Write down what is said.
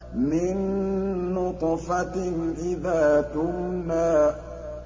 مِن نُّطْفَةٍ إِذَا تُمْنَىٰ